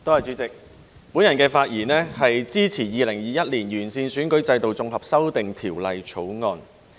主席，我發言支持《2021年完善選舉制度條例草案》。